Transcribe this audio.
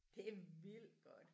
Det vildt godt